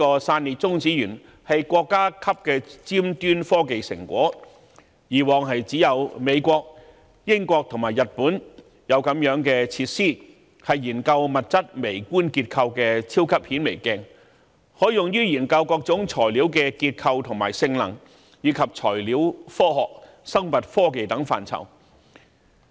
散裂中子源是國家級的尖端科技成果，過往只有美國、英國和日本才有此類設施，是研究物質微觀結構的超級顯微鏡，可用於研究各種材料的結構和性能，以及材料科學、生物科技等範疇。